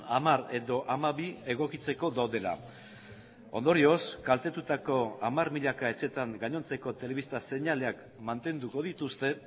hamar edo hamabi egokitzeko daudela ondorioz kaltetutako hamar milaka etxetan gainontzeko telebista seinaleak mantenduko dituzte